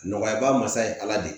Nɔgɔya ba masa ye ala de ye